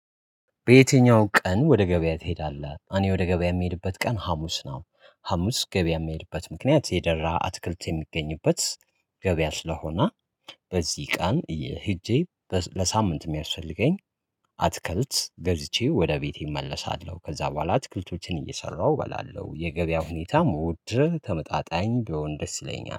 በየትኛው ቀን ወደ ገበያ ትሄዳለህ? እኔ ወደ ገበያ የምሄድበት ቀን ሀሙስ ነው። ሀሙስ ገበያ የምሄድበት ምክንያት የደራ አተክልት የሚገኝበት ገበያ ስለሆነ። በዚህ ቀን ሄጄ ለሳምንት የሚያስፈልገኝ አትክልት ገዝቼ ወደ ቤቴ እመለሳለሁ። ከዛ በኋላ አትክልቶችን እየሰራሁ እበላለሁ። የገበያ ሁኔታ መውደድ ተመጣጣኝ ቢሆን ደስ ይለኛል